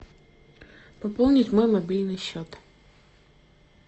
пополнить мой мобильный счет